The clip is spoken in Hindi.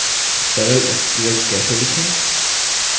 sql sql कैसे लिखें